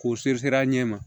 K'o a ɲɛ ma